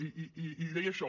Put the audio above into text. i deia això